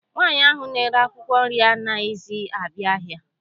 Nwaanyị ahụ na-ere akwụkwọ nri anaghịzi abịa ahịa.